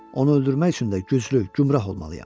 Onu öldürmək üçün də güclü, gümrah olmalıyam.